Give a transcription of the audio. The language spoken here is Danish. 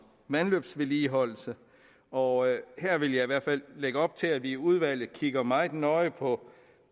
vandløbsvedligeholdelse og her vil jeg i hvert fald lægge op til at vi i udvalget kigger meget nøje på